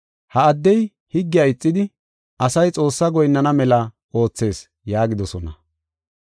“Ha addey higgiya ixidi, asay Xoossaa goyinnana mela oothees” yaagidosona.